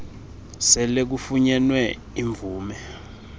sele kufunyenwe imvume